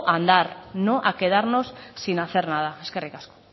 a andar no a quedarnos sin hacer nada eskerrik asko